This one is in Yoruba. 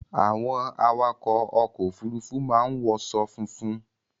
Àwọn awakọ̀ ọkọ Òfurufú máa ń wọṣọ funfun